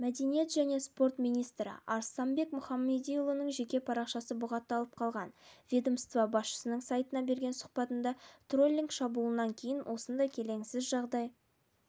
мәдениет және спорт министрі арыстанбек мұхамедиұлының жеке парақшасы бұғатталып қалған ведомства басшысының сайтына берген сұхбатында троллинг шабуылынан кейін осындай келеңсіз жағдай